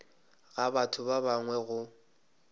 ga batho ba bangwe go